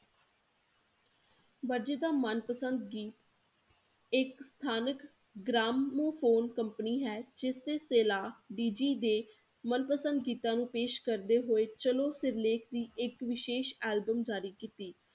ਵਰਜੀ ਦਾ ਮਨਪਸੰਦ ਗੀਤ ਇੱਕ ਸਥਾਨਕ ਗ੍ਰਾਮੋਫੋਨ company ਹੈ ਜਿਸ ਨੇ ਸੇਲਾ ਦੇ ਮਨਪਸੰਦ ਗੀਤਾਂ ਨੂੰ ਪੇਸ਼ ਕਰਦੇ ਹੋਏ ਚਲੋ ਸਿਰਲੇਖ ਦੀ ਇੱਕ ਵਿਸ਼ੇਸ਼ album ਜਾਰੀ ਕੀਤੀ